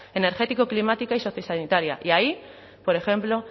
energético climática y sociosanitaria y ahí por ejemplo